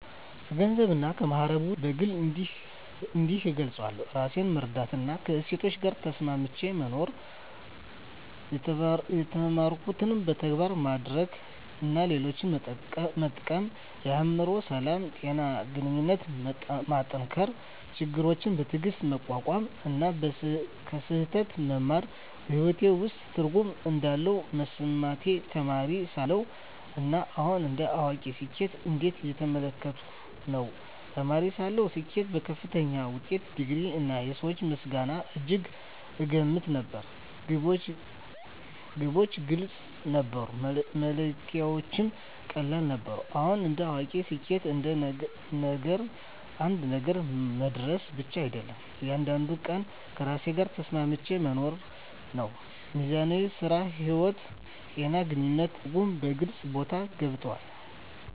ከገንዘብና ከማዕረግ ውጭ፣ ስኬትን በግል እንዲህ እገልጻለሁ፦ ራሴን መረዳትና ከእሴቶቼ ጋር ተስማምቼ መኖር የተማርኩትን በተግባር ማድረግ እና ሌሎችን መጠቀም የአእምሮ ሰላም፣ ጤና እና ግንኙነቶችን መጠንከር ችግሮችን በትዕግስት መቋቋም እና ከስህተት መማር በሕይወቴ ውስጥ ትርጉም እንዳለ መሰማቴ ተማሪ ሳለሁ እና አሁን እንደ አዋቂ ስኬትን እንዴት እየተመለከትኩ ነው? ተማሪ ሳለሁ ስኬትን በከፍተኛ ውጤት፣ ዲግሪ፣ እና የሰዎች ምስጋና እጅግ እገመት ነበር። ግቦች ግልጽ ነበሩ፣ መለኪያዎቹም ቀላል ነበሩ። አሁን እንደ አዋቂ ስኬት አንድ ነገር መድረስ ብቻ አይደለም፤ እያንዳንዱን ቀን ከራሴ ጋር ተስማምቼ መኖር ነው። ሚዛን (ሥራ–ሕይወት)፣ ጤና፣ ግንኙነት እና ትርጉም በግልጽ ቦታ ገብተዋል።